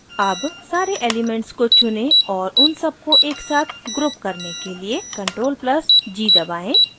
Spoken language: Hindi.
अब सारे elements को चुनें और उन सबको एकसाथ group करने के लिए ctrl + g दबाएं